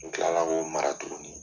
N kilala ko mara tugunni.